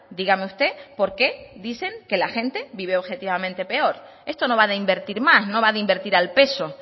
dígame usted por qué dicen que la gente vive objetivamente peor esto no va de invertir más no va de invertir al peso